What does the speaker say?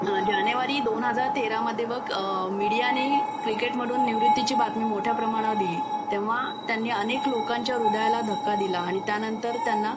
हं जानेवारी दोन हजार तेरामध्ये बघ मीडियाने क्रिकेटमधून निवृत्ती ची बातमी मोठया प्रमाणावर दिली तेंव्हा त्यांनी अनेक लोकांच्या हृदयाला धक्का दिला आणि त्यानंतर त्यांना